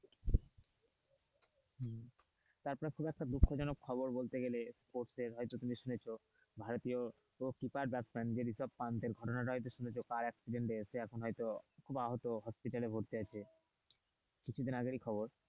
তারপর খুব একটা দুঃখ জনক খবর বলতে গেলে sports এর হয়তো তুমি শুনেছ ভারতীয় কিপার ব্যাটসম্যান যে রিশাব পাণ্ডে ঘটনা তা হয়তো শুনেছ car accident এর সে এখন হয়তো খুব আহত hospital এ ভর্তি আছে কিছুদিন আগের ই খবর।